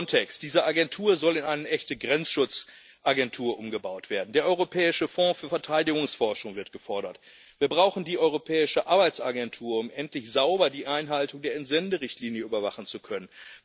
Frontex diese Agentur soll zu einer echten Grenzschutzagentur umgebaut werden, der Europäische Fonds für Verteidigungsforschung wird gefordert, wir brauchen die europäische Arbeitsagentur, um endlich sauber die Einhaltung der Entsenderichtlinie überwachen zu können.